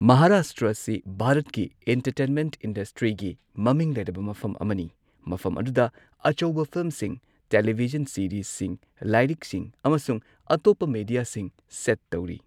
ꯃꯍꯥꯔꯥꯁꯇ꯭ꯔꯥ ꯑꯁꯤ ꯚꯥꯔꯠꯀꯤ ꯑꯦꯟꯇꯔꯇꯦꯟꯃꯦꯟꯠ ꯢꯟꯗꯁꯇ꯭ꯔꯤꯒꯤ ꯃꯃꯤꯡ ꯂꯩꯔꯕ ꯃꯐꯝ ꯑꯃꯅꯤ꯫ ꯃꯐꯝ ꯑꯗꯨꯗ ꯑꯆꯧꯕ ꯐꯤꯜꯝꯁꯤꯡ, ꯇꯦꯂꯤꯚꯤꯖꯟ ꯁꯤꯔꯤꯖꯁꯤꯡ, ꯂꯥꯢꯔꯤꯛꯁꯤꯡ, ꯑꯃꯁꯨꯡ ꯑꯇꯣꯞꯄ ꯃꯦꯗꯤꯌꯥꯁꯤꯡ ꯁꯦꯠ ꯇꯧꯔꯤ꯫